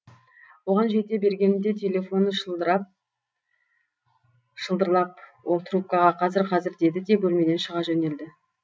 оған жете бергенімде телефоны шылдырлап ол трубкаға қазір қазір деді де бөлмеден шыға жөнелді